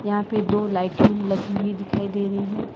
यहां पे दो लाइटिंग लगी हुई दिखाई दे रही हैं।